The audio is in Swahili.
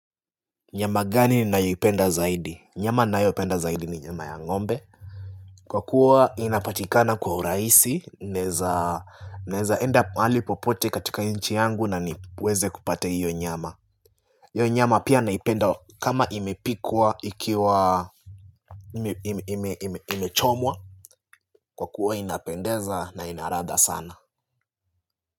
Nyama gani ninayo ipenda zaidi? Nyama ninayo penda zaidi ni nyama ya ng'ombe. Kwa kuwa inapatikana kwa urahisi, naeza naeza enda mahali popote katika nchi yangu na niweze kupata hiyo nyama hio nyama pia naipenda kama imepikwa ikiwa imechomwa kwa kuwa inapendeza na ina ladha sana.